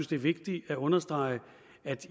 det er vigtigt at understrege at